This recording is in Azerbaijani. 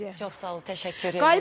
Çox sağ olun, təşəkkür edirəm.